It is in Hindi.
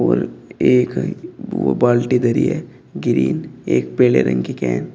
और एक वो बाल्टी धरी है ग्रीन एक पीले रंग की केन